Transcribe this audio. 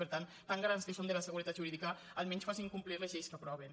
per tant tan garants que són de la seguretat jurídi·ca almenys facin complir les lleis que aproven